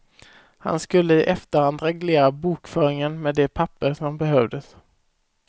Han skulle i efterhand reglera bokföringen med de papper som behövdes.